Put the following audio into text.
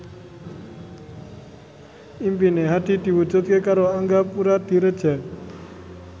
impine Hadi diwujudke karo Angga Puradiredja